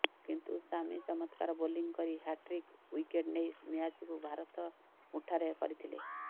କିନ୍ତୁ ଶାମି ଚମତ୍କାର ବୋଲିଂ କରି ହ୍ୟାଟ୍ରିକ୍ ୱିକେଟ୍ ନେଇ ମ୍ୟାଚକୁ ଭାରତ ମୁଠାରେ କରିଥିଲେ